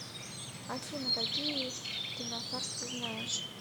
афина какие кинофарс ты знаешь